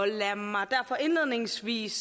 lad mig derfor indledningsvis